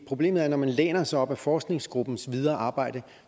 problemet er at når man læner sig op ad forskergruppens videre arbejde